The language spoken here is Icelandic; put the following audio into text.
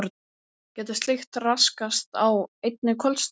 Getur slíkt raskast á einni kvöldstund?